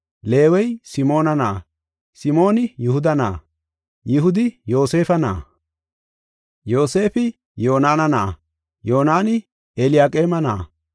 Leewey Simoona na7a, Simooni Yihuda na7a, Yihudi Yoosefa na7a, Yoosefi Yonaana na7a, Yoonaney Eliyaqeeme na7a,